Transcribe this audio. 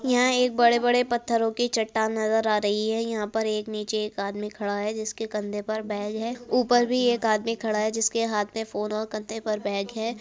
यहाँ एक बड़े-बड़े पत्थरो की चट्टान नजर आ रही है। यहाँ पे एक नीचे एक आदमी खड़ा है। जिसके कंधे पर बैग है। ऊपर भी एक आदमी खड़ा है। जिसके हाथ मे फोन और कंधे पर बैग है।